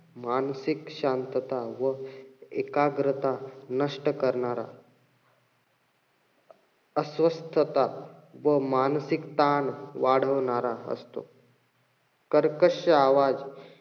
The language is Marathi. मानसिक शांतता व एकाग्रता नष्ट करणारा अस्वस्थता व मानसिक ताण वाढवणारा असतो. कर्कश्श आवाज,